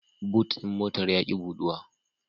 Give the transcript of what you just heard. But ɗin motar ya ƙi buɗuwa.